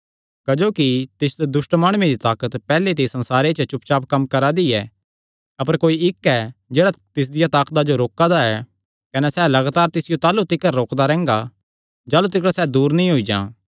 क्जोकि तिस दुष्ट माणुये दी ताकत पैहल्ले ते ई इस संसारे च चुपचाप कम्म करा दी ऐ अपर कोई इक्क ऐ जेह्ड़ा तिसदिया ताकता जो रोका दा ऐ कने सैह़ लगातार तिसियो ताह़लू तिकर रोकदा रैंह्गा जाह़लू तिकर सैह़ दूर नीं होई जां